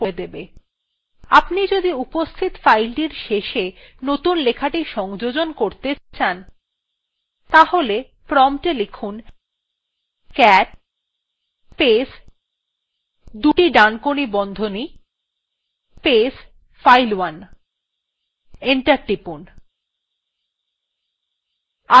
আপনি যদি উপস্থিত fileটির শেষে নতুন লেখাটি সংযোজন করতে cat তাহলে promptএ cat space দুটি ডানকোনি বন্ধনী space file1 লিখে enter টিপুন